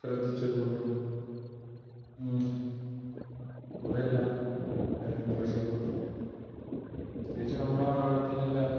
ശ്രദ്ധിച്ചത് കൊണ്ടും കുറെ എല്ലാം അതിൽ നിന്ന് രക്ഷപ്പെട്ടു. പ്രത്യേകിച്ച് നമ്മുടെ നാട്ടിൽ എല്ലാം